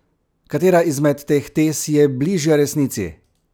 Katera izmed teh tez je bližja resnici?